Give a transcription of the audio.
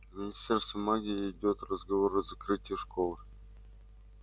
в министерстве магии идёт разговор о закрытии школы